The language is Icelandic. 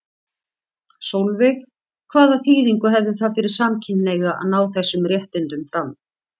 Sólveig: Hvaða þýðingu hefði það fyrir samkynhneigða að ná þessum réttindum fram?